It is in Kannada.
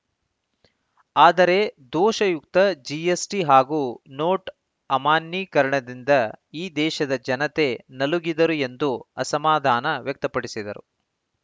ಆದರೆ ದೋಷಯುಕ್ತ ಜಿಎಸ್‌ಟಿ ಹಾಗೂ ನೋಟು ಅಮಾನ್ಯೀಕರಣದಿಂದ ಈ ದೇಶದ ಜನತೆ ನಲುಗಿದರು ಎಂದು ಅಸಮಾಧಾನ ವ್ಯಕ್ತಪಡಿಸಿದರು